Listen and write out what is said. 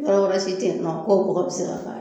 Yɔrɔ wɛrɛ si te yen nɔn ko ko bɔgɔ be se ka k'a ye